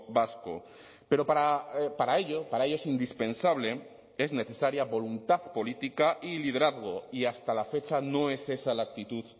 vasco pero para ello para ello es indispensable es necesaria voluntad política y liderazgo y hasta la fecha no es esa la actitud